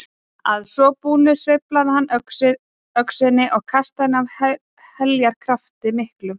Að svo búnu sveiflaði hann öxinni og kastaði henni af heljarafli miklu.